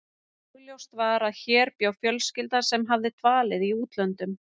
Augljóst var að hér bjó fjölskylda sem hafði dvalið í útlöndum.